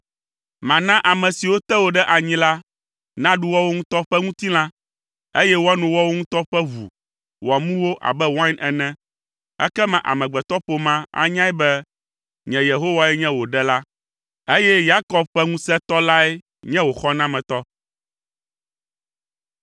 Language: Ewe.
Mana ame siwo te wò ɖe enyi la naɖu woawo ŋutɔ ƒe ŋutilã, eye woano woawo ŋutɔ ƒe ʋu wòamu wo abe wain ene, ekema amegbetɔƒomea anyae be, nye Yehowae nye wò Ɖela, eye Yakob ƒe Ŋusẽtɔ lae nye wò Xɔnametɔ.”